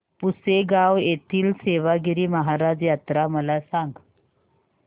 पुसेगांव येथील सेवागीरी महाराज यात्रा मला सांग